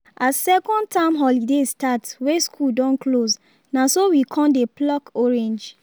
as second term holiday start wey school don close na so we con dey pluck orange